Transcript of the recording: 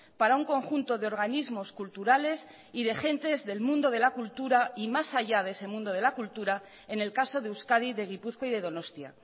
para un conjunto de organismos culturales y de gentes del mundo de la cultura y más allá de ese mundo de la cultura en el caso de euskadi de gipuzkoa y de donostia